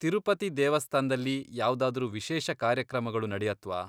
ತಿರುಪತಿ ದೇವಸ್ಥಾನ್ದಲ್ಲಿ ಯಾವ್ದಾದ್ರೂ ವಿಶೇಷ ಕಾರ್ಯಕ್ರಮಗಳು ನಡೆಯತ್ವಾ?